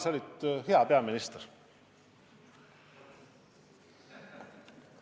Sa olid hea peaminister.